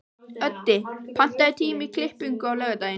Öddi, pantaðu tíma í klippingu á laugardaginn.